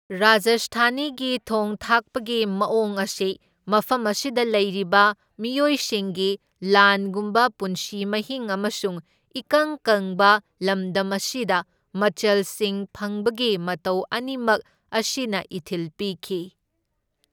ꯔꯥꯖꯁꯊꯥꯅꯤꯒꯤ ꯊꯣꯡ ꯊꯥꯛꯄꯒꯤ ꯃꯑꯣꯡ ꯑꯁꯤ ꯃꯐꯝ ꯑꯁꯤꯗ ꯂꯩꯔꯤꯕ ꯃꯤꯑꯣꯏꯁꯤꯡꯒꯤ ꯂꯥꯟꯒꯨꯝꯕ ꯄꯨꯟꯁꯤ ꯃꯍꯤꯡ ꯑꯃꯁꯨꯡ ꯏꯀꯪ ꯀꯪꯕ ꯂꯝꯗꯝ ꯑꯁꯤꯗ ꯃꯆꯜꯁꯤꯡ ꯐꯪꯕꯒꯤ ꯃꯇꯧ ꯑꯅꯤꯃꯛ ꯑꯁꯤꯅ ꯏꯊꯤꯜ ꯄꯤꯈꯤ꯫